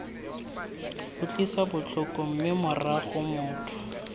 utlwisa botlhoko mme morago motho